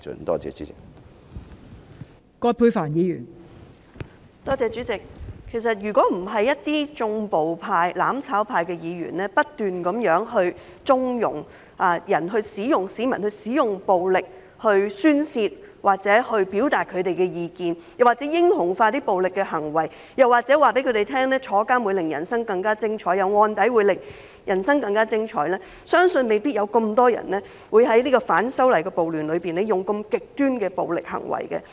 代理主席，如果不是一些"縱暴派"、"攬炒派"的議員不斷縱容市民使用暴力宣泄或表達意見，又或是英雄化暴力行為，告訴他們入獄會令人生更加精彩、有案底會令人生更加精彩，相信未必有這麼多人在反修例暴亂中作出如此極端的暴力行為。